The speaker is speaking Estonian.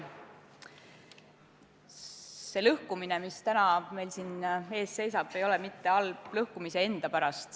See lõhkumine, mis täna meil siin ees seisab, ei ole halb mitte lõhkumise enda pärast.